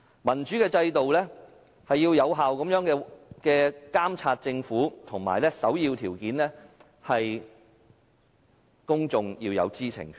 民主的制度是要有效監察政府，而首要條件是公眾要有知情權。